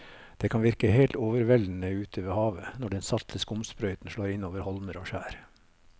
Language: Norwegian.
Det kan virke helt overveldende ute ved havet når den salte skumsprøyten slår innover holmer og skjær.